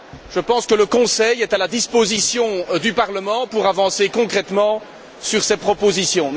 Je pense que le Conseil est à la disposition du Parlement pour avancer concrètement sur ces propositions.